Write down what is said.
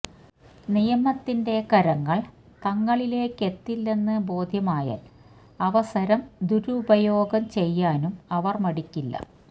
നിയമത്തിന്റെ കരങ്ങള് തങ്ങളിലേക്കെത്തില്ലെന്ന് ബോധ്യമായാല് അവസരം ദുരുപയോഗം ചെയ്യാനും അവര് മടിക്കില്ല